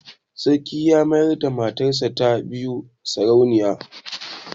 Sarki ya mayar da matarsa ta biyu sarauniya.